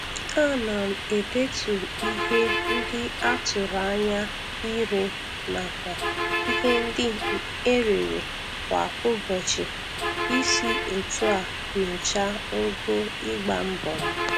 Ana m edetu ihe.ndị a tụrụ anya ire nakwa ihe ndị e rere kwa ụbọchị isi otu a nyocha ogo ịgba mbọ m.